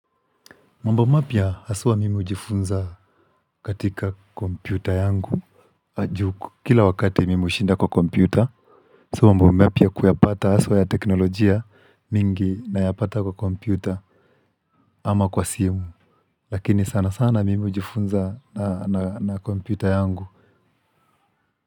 Mambo mapua haswa mimi uhujifunza katika kompyuta yangu. Kila wakati mimi ushinda kwa kompyuta. Mambo mapya kuyapata haswa ya teknolojia mingi nayapata kwa kompyuta ama kwa simu lakini sana sana mimi hujifunza na kompyuta yangu.